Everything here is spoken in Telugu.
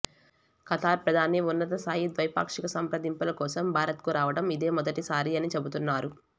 ఖతార్ ప్రధాని ఉన్నతస్థాయి ద్వైపాక్షిక సంప్రదింపులకోసం భారత్కు రావడం ఇదేమొదటిసారి అని చెపుతున్నారు